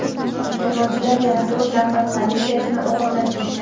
Terrorchilar yana to‘rt nafar politsiyachini o‘g‘irlab ketgan.